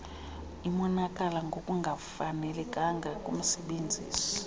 imonakalo ngokungafanelekanga kumsebenzisi